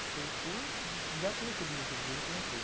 E por por já ter esse objetivo desde que eu entrei.